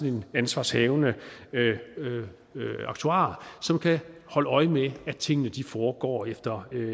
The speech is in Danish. en ansvarshavende aktuar som kan holde øje med at tingene foregår efter